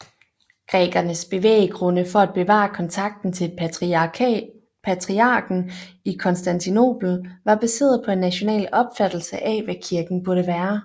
Grækernes bevæggrundefor at bevare kontakten til patriarken i Konstantinopel var baseret på en national opfattelse af hvad kirken burde være